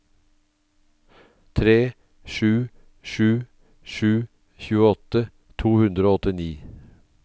tre sju sju sju tjueåtte to hundre og åttini